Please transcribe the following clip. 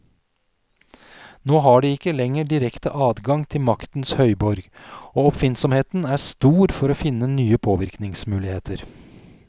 Nå har de ikke lenger direkte adgang til maktens høyborg, og oppfinnsomheten er stor for å finne nye påvirkningsmuligheter.